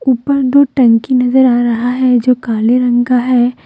ऊपर दो टंकी नजर आ रहा है जो काले रंग का है।